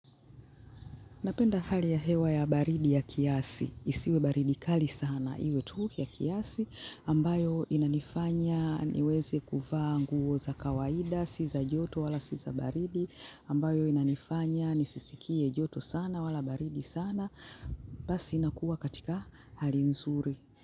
Napenda hali ya hewa ya baridi ya kiasi. Isiwe baridi kali sana. Iwe tu ni kiasi ambayo inanifanya niweze kuvaa nguo za kawaida sio za joto wala sio za baridi. Ambayo inanifanya nisisikie joto sana wala baridi sana. Basi nakuwa katika hali nzuri.